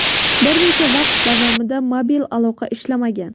Bir necha vaqt davomida mobil aloqa ishlamagan.